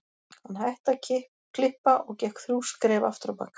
Hann hætti að klippa og gekk þrjú skref aftur á bak